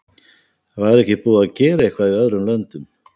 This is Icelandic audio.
Væri ekki búið að gera eitthvað í öðrum löndum?